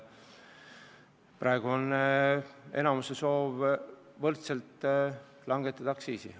Praegu on enamuse soov aktsiisi võrdselt langetada.